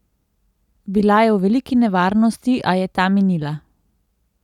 Bila je v veliki nevarnosti, a je ta minila.